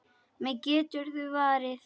Mig geturðu varið.